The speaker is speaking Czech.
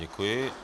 Děkuji.